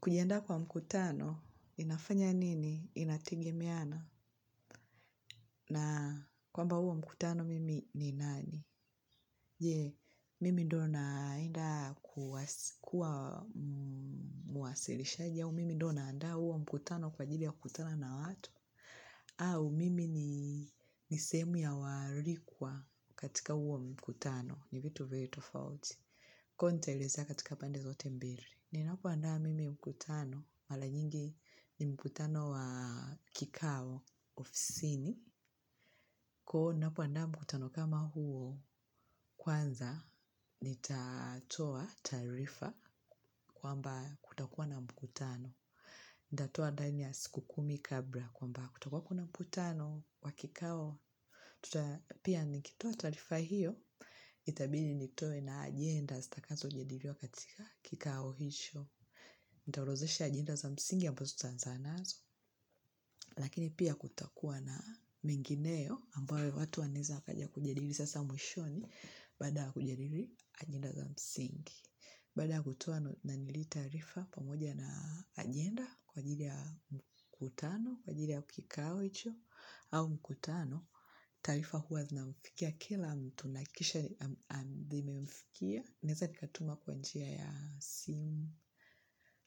Kujiandaa kwa mkutano, inafanya nini? Inategemeana. Na kwamba huo mkutano mimi ni nani? Je, mimi ndo naenda kuwa mwasilishaji au mimi ndo naandaa huo mkutano kwa ajili ya kukutana na watu? Au, mimi ni sehemu ya waalikwa katika huo mkutano. Ni vitu very tofauti. Kwa hiyo nitaelezea katika pande zote mbili. Ninapoandaa mimi mkutano. Mara nyingi ni mkutano wa kikao ofisini. Kwa hiyo ninapoandaa mkutano kama huo kwanza nitatoa taarifa kwamba kutakuwa na mkutano. Nitatoa ndani ya siku kumi kabla kwamba kutakuwa kuna mkutano wa kikao. Pia nikitoa taarifa hiyo, itabidi nitoe na ajenda zitakazojadiliwa katika kikao hicho. Nitaorodhesha ajenda za msingi ambazo tutaanza nazo, lakini pia kutakua na mengineyo ambayo watu wanaeza wakaja kujadili sasa mwishoni baada ya kujadili ajenda za msingi. Baada kutoa na nilitaarifa pamoja na ajenda kwa ajili ya mkutano, kwa ajili ya kikao hicho au mkutano. Taarifa huwa zinamfikia kila mtu nahakikisha zimemfikia. Naweza nikatuma kwa njia ya simu